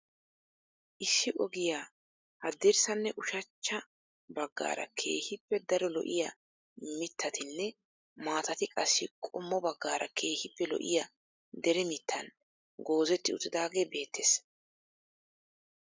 Issi ogiyaa haddirssanne ushachcha baggaara keehippe daro lo"iyaa mittatinne maatati qassi qommo baggaara keehippe lo"iyaa deree mittan goozetti uttidaagee beettees.